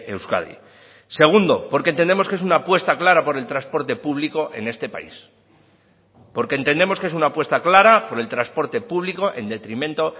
euskadi segundo porque entendemos que es una apuesta clara por el transporte público en este país porque entendemos que es una apuesta clara por el transporte público en detrimento